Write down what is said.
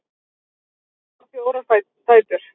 Guðrún á fjórar dætur.